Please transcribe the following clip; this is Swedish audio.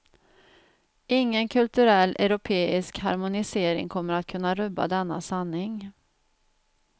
Ingen kulturell europeisk harmonisering kommer att kunna rubba denna sanning.